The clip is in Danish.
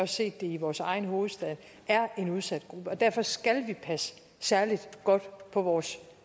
set det i vores egen hovedstad er en udsat gruppe og derfor skal vi passe særlig godt på vores